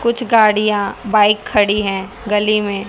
कुछ गाड़ियां बाइक खड़ी है गली में--